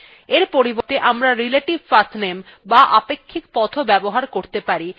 এর পরিবর্তে আমরা relative pathname বা আপেক্ষিক পথও ব্যবহার করতে পারি যা বর্তমান directory থেকে শুরু হয়